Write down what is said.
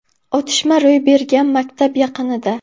Otishma ro‘y bergan maktab yaqinida.